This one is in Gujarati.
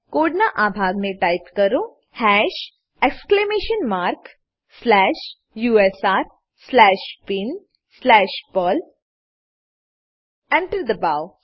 કોડનાં આ ભાગને ટાઈપ કરો hash exclamation mark slash U S R slash bin slash Perl Enter દબાવો